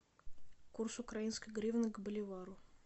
курс украинской гривны к боливару